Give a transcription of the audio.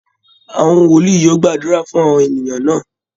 Àwọn wòlíì yóò gbàdúrà fún àwọn ènìyàn náà